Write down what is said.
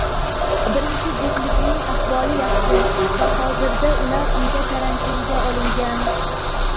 birinchi juftlikning ahvoli yaxshi va hozirda ular uyda karantinga olingan.